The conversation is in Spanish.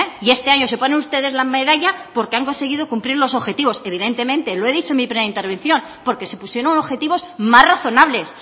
y este año se ponen ustedes la medalla porque han conseguido cumplir los objetivos evidentemente lo he dicho en mi primera intervención porque se pusieron objetivos más razonables